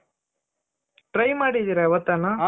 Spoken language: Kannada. try ಮಾಡಿದಿರ ಯಾವತ್ತನ